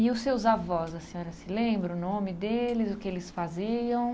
E os seus avós, a senhora se lembra o nome deles, o que eles faziam?